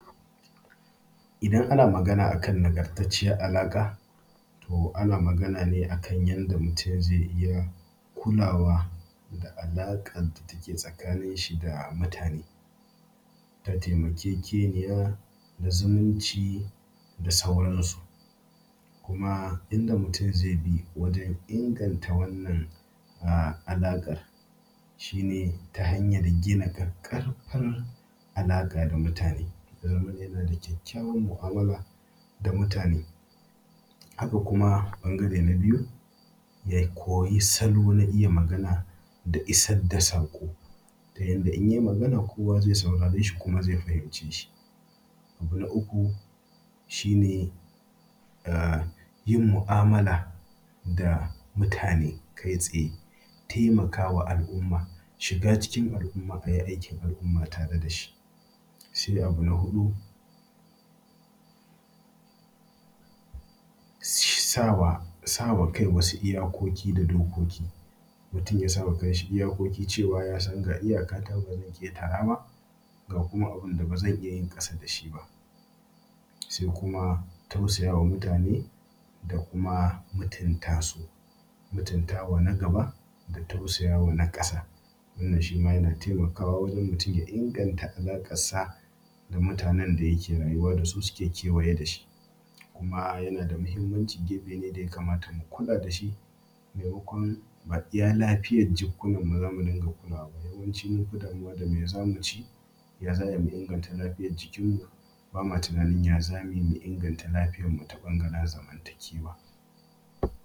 Idan ana magana akan nagantacciyar alaƙa, to ana magana ne a kan yadda mutum zai zama mai kulawa da alaƙar da take tsakanin shi da mutane ta taimakekeniya da zumunci da sauran su. Kuma inda mutum zai bi wajen inganta wannan alaƙar shine ta hanyar gina ƙaƙƙarfar alaƙa da mutane. Ya zamana yana da kyakkyawar mu'amala da mutane, haka kuma ɓangare na biyu ya koyi salo na iya magana da isar da saƙo ta yanda in yai magana kowa zai saurare shi kuma ya fahimce shi. Abu na uku shine yin mu'amala da mutane kai tsaye. Taimaka ma al'umma, shiga cikin al'umma ayi aikin al'umma tare da shi. Sai abu na hudu sa wa kai wasu iyakoki da dokoki. Mutum ya sa wa kan shi iyakoki cewa ya san ga iyakata ba zan ƙetara ba ga kuma abinda ba zan yi ƙasa dashi ba. Sai kuma tausayawa mutane da kuma mutunta su. Mutuntawa na gaba da kuma tausayawa na ƙasa wannan shima yana taimakawa wajen mutum ya inganta alaƙarsa da mutanen da yake rayuwa da su suke kewaye da shi. Kuma yana da muhimmanci gefe ne da ya kamata mu kula da shi maimakon a iya lafiyar jukkunan mu zamu dunga kulawa yawanci munfi damuwa dame zamu ci ya za a yi mu inganta lafiyar jikin mu bama tunanin ya za a yi mu inganta lafiyar mu ta bangaren zamantakewa